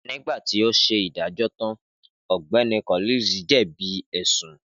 Nígbà tó ṣe ìdájọ́ tan, Ọ̀gbẹ́ni Collins jẹbi bi ẹsun